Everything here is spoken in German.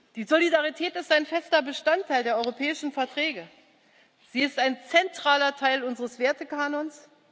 Die Solidarität ist ein fester Bestandteil der Europäischen Verträge, sie ist ein zentraler Teil unseres Wertekanons.